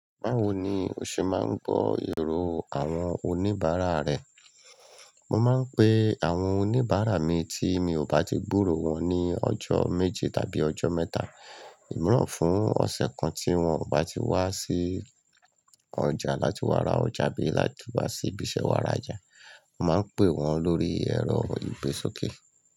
Báwo ni o ṣe máa ń gbọ́ èrò àwọn oníbàárà rẹ? Mo máa ń pe àwọn oníbàárà mi tí mi ò bá ti gbúró wọn ní ọjọ́ méji tàbí ọjọ́ mẹ́ta, ìmiran fún ọ̀sẹ̀ kan tí wọ́n ò bá ti wá sí ọjà láti wá ra ọjà abí láti wá sí ibiṣẹ́ wá ra oja. Mo máa ń pè wọ́n lórí ẹ̀rọ ìgbésókè.